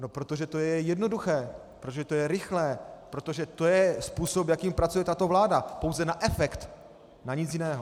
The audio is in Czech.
No protože to je jednoduché, protože to je rychlé, protože to je způsob, jakým pracuje tato vláda - pouze na efekt, na nic jiného.